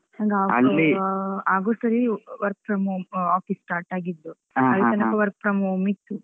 August ಅಲ್ಲಿ work from home ಆಹ್ office start ಆಗಿದ್ದು. ಅಲ್ಲಿ ತನಕ work from home ಇತ್ತು.